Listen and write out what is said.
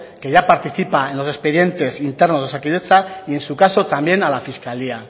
que ya participa en los expedientes internos de osakidetza y en su caso también a la fiscalía